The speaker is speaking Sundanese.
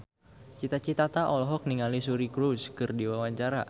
Cita Citata olohok ningali Suri Cruise keur diwawancara